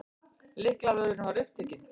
Lyklavörðurinn var upptekinn.